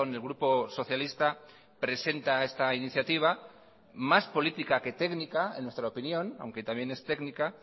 el grupo socialista presenta esta iniciativa más política que técnica en nuestra opinión aunque también es técnica